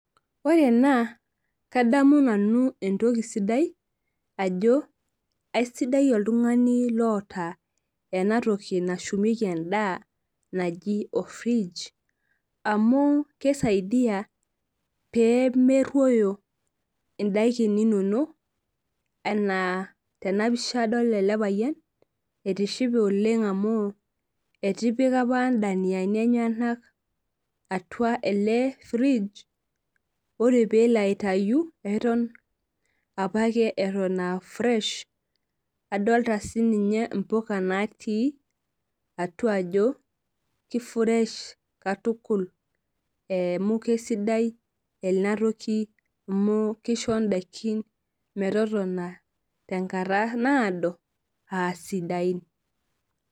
Ore ena kadamu nanu Entoki sidai ajo kaisidai oltungani oota enatoki nashumieki endaa naji orfrige amu kisaidia pemeruoyo ndakin inonok ana tenapisha adolta elepayian etishipe oleng amu etipika apa ndaniani enyenak atua elefridge ore pelo aitae eton apake atan aa fresh[cs[ adolta mpuka natii atua ajo ke[freshh katukul emu Kesidai enatoki amu kisho ndakini metotona tenkata naado asidain.